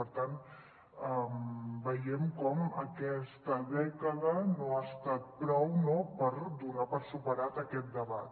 per tant veiem com aquesta dècada no ha estat prou per do·nar per superat aquest debat